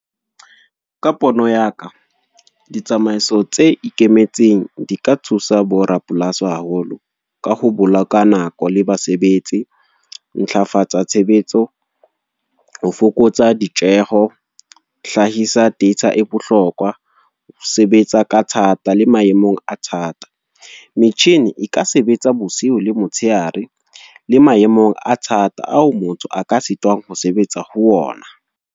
Ka pono ya ka, ditsamaiso tse ikemetseng di ka thusa bo rapolasi haholo. Ka ho bula ka nako, le basebetsi. Ntlafatsa tshebetso, ho fokotsa ditjeho. Hlahisa data e bohlokwa, ho sebetsa ka thata le maemong a thata. Metjhini e ka sebetsa bosiu le motsheare, le maemong a thata ao motho a ka sitwang ho sebetsa ho ona.